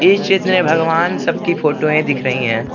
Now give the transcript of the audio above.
इस भगवान सबकी फोटोएं दिख रही हैं।